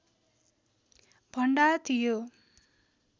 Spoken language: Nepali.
भण्डार थियो